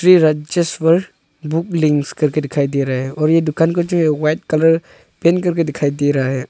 Shri Rajeshwar book links करके दिखाई दे रहा है और ये दुकान कुछ व्हाईट कलर पेंट करके दिखाई दे रहा है।